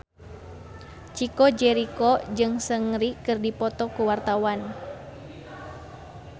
Chico Jericho jeung Seungri keur dipoto ku wartawan